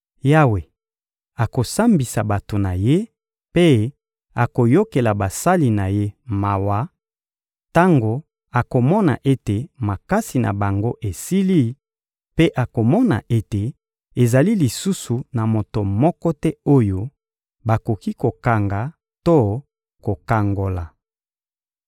Yawe akosambisa bato na Ye, mpe akoyokela basali na Ye mawa; tango akomona ete makasi na bango esili, mpe akomona ete ezali lisusu na moto moko te oyo bakoki kokanga to kokangola.